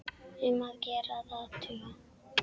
Um að gera að athuga.